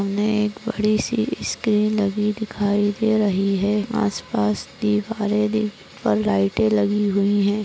सामने एक बड़ी सी स्क्रीन लगी दिखाई दे रही है आस पास दिवारे पे पर लाईटे लगी हुई है।